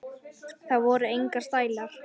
Það voru engir stælar.